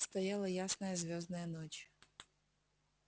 стояла ясная звёздная ночь